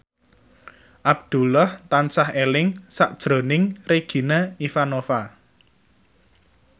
Abdullah tansah eling sakjroning Regina Ivanova